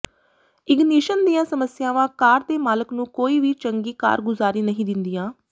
ignition ਦੀਆਂ ਸਮੱਸਿਆਵਾਂ car ਦੇ ਮਾਲਕ ਨੂੰ ਕੋਈ ਵੀ ਚੰਗੀ ਕਾਰਗੁਜ਼ਾਰੀ ਨਹੀਂ ਦਿੰਦੀਆਂ